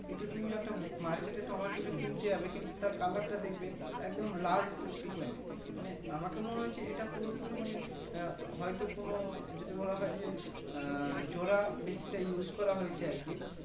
কিন্তু তুমি একটা Market এ টমেটো টা কিনতে যাবে কিন্তু Color টা দেখবে একদম লাল টুকটুকানি মানে আমাকে মনে হচ্ছে এটা পুরোটোই মানে আহ হয়তো কোনো যদি বলা হয় যে আহ জোড়া বেশিটা Use করা হয়েছে আরকি